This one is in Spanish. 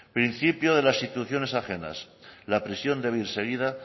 principio de las instituciones ajenas la prisión debe ir seguida